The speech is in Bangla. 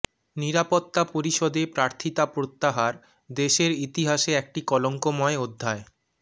নিরাপত্তা পরিষদে প্রার্থিতা প্রত্যাহার দেশের ইতিহাসে একটি কলঙ্কময় অধ্যায়